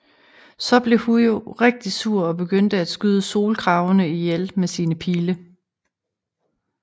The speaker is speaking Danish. Så blev Houyi rigtig sur og begyndte at skyde solkragene ihjel med sine pile